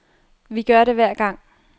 Vi gør det hver gang.